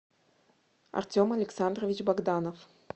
артем александрович богданов